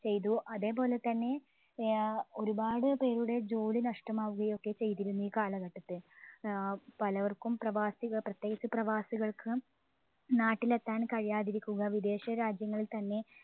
ചെയ്തു. അതെ പോലെത്തന്നെ ആഹ് ഒരുപാട് പേരുടെ ജോലി നഷ്ടമാവുകയൊക്കെ ചെയ്തിരുന്നു ഈ കാലഘട്ടത്തിൽ. ഏർ പലർക്കും പ്രവാസിക പ്രത്യേകിച്ച് പ്രവാസികൾക്ക് നാട്ടിലെത്താൻ കഴിയാതിരിക്കുക വിദേശ രാജ്യങ്ങളിൽ തന്നെ